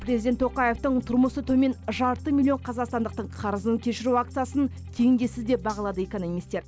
президент тоқаевтың тұрмысы төмен жарты миллион қазақстандықтың қарызын кешіру акциясын теңдессіз деп бағалады экономистер